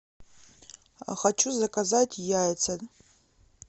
хочу заказать яйца